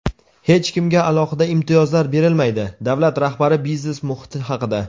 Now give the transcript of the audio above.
"Hech kimga alohida imtiyozlar berilmaydi" — davlat rahbari biznes muhiti haqida.